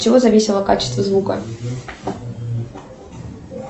от чего зависело качество звука